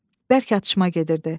Bərk atışma gedirdi.